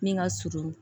Ni ka surun